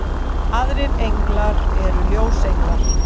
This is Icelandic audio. aðrir englar eru ljósenglar